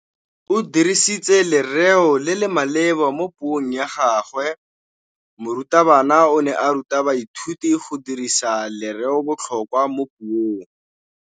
O dirisitse lerêo le le maleba mo puông ya gagwe. Morutabana o ne a ruta baithuti go dirisa lêrêôbotlhôkwa mo puong.